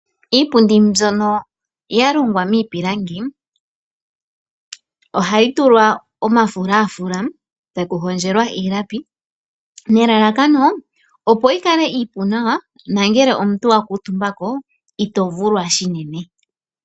Iipundi mbyono ya longwa miipilangi, ohayi tulwa omafulafula e taku hondjelwa iilapi, nelalakano yi kale iipu nawa nangele omuntu okuutumba ko ito vulwa unene.